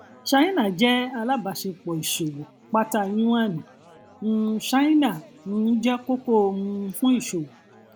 ṣáínà jẹ alábàṣepọ ìṣòwò pátá yuan um china um jẹ kókó um fún ìṣòwò